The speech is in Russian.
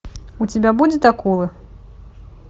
у тебя будет акулы